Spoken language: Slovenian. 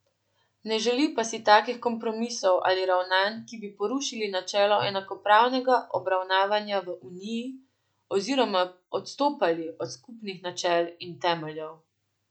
Ne želi pa si takih kompromisov ali ravnanj, ki bi porušili načelo enakopravnega obravnavanja v uniji oziroma odstopali od skupnih načel in temeljev.